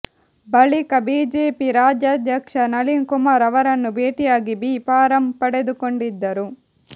ಬಳಿಕ ಬಿಜೆಪಿ ರಾಜ್ಯಾಧ್ಯಕ್ಷ ನಳಿನ್ ಕುಮಾರ್ ಅವರನ್ನು ಭೇಟಿಯಾಗಿ ಬಿ ಫಾರಂ ಪಡೆದುಕೊಂಡಿದ್ದರು